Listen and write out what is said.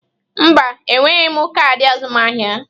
Mba, enweghị m kaadị azụmaahịa.